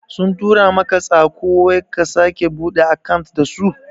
Sun tura maka tsako wai ka sake buɗe akant dasu?